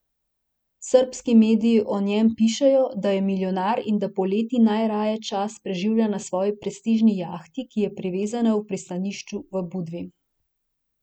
Srbski mediji o njem pišejo, da je milijonar in da poleti najraje čas preživlja na svoji prestižni jahti, ki je privezana v pristanišču v Budvi.